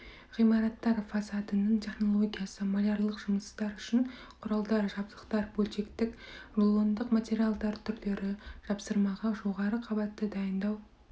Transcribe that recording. ғимараттар фасадының технологиясы малярлық жұмыстар үшін құралдар жабдықтар бөлшектік рулондық материалдар түрлері жапсырмаға жоғары қабатты дайындау